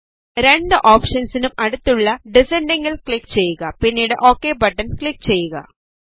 രണ്ട് ഓപ്ഷൻസിനും അടുത്തുള്ള ഡിസൻഡിംഗ്ൽ ക്ലിക് ചെയ്യുക പിന്നീട് ഓകെ ബട്ടൺ ക്ലിക് ചെയ്യുക